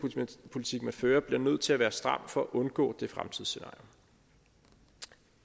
fører bliver nødt til at være stram for at undgå det fremtidsscenarie